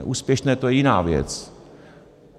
neúspěšná - to je jiná věc.